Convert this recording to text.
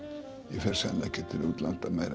ég fer sennilega ekki aftur til útlanda